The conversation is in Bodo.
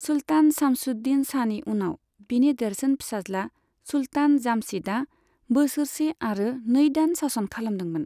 सुल्तान शामसुद्दीन शाहनि उनाव बिनि देरसिन फिसाज्ला सुल्तान जामशीदआ बोसोरसे आरो नै दान सासन खालामदोंमोन।